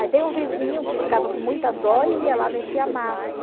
Aí tem um vizinho que ficava com muita dó e ia lá mexer a massa.